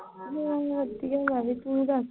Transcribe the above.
ਹੂੰ ਵਧੀਆ ਮੈਂ ਵੀ ਤੂੰ ਦੱਸ।